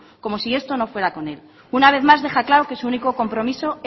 como si esto no fuera con él una vez más deja claro que su único compromiso